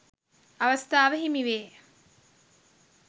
අවස්ථාව හිමි වේ.